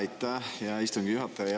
Aitäh, hea istungi juhataja!